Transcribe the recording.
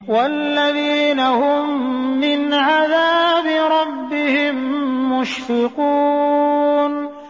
وَالَّذِينَ هُم مِّنْ عَذَابِ رَبِّهِم مُّشْفِقُونَ